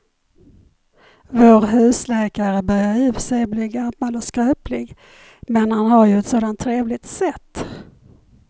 Vår husläkare börjar i och för sig bli gammal och skröplig, men han har ju ett sådant trevligt sätt!